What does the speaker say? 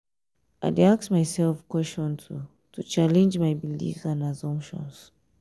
i dey ask myself questions to challenge my beliefs and assumptions.